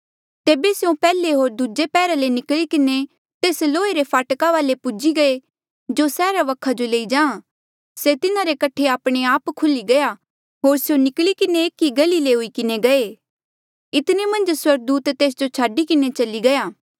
तेबे स्यों पैहले होर दूजे पैहरे ले निकली किन्हें तेस लोहे रे फाटका वाले पूजी गये जो सैहरा वखा जो लेई जा से तिन्हारे कठे आपणे आप खुल्ही गया होर स्यों निकली किन्हें एक ई गली ले हुई किन्हें गये इतने मन्झ स्वर्गदूता तेस जो छाडी किन्हें चली गया